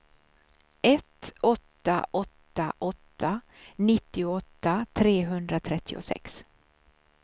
ett åtta åtta åtta nittioåtta trehundratrettiosex